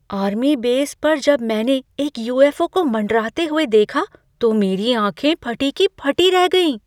Army base पर जब मैंने एक यू.एफ.ओ. को मंडराते हुए देखा तो मेरी आँखें फटी की फटी रह गईं।